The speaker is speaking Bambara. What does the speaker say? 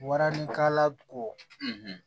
Waranikala ko